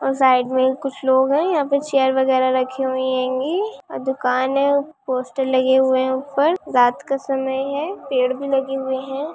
और साइड में कुछ लोग है यहाँ पे चेयर वगैरह रखी हुई हैंगी और दुकान है पोस्टर लगे हुए है ऊपर रात का समय है पेड़ भी लगे हुए है।